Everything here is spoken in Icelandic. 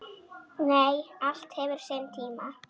Nei, allt hefur sinn tíma.